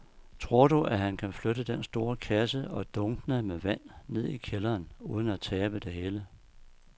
Tror du, at han kan flytte den store kasse og dunkene med vand ned i kælderen uden at tabe det hele?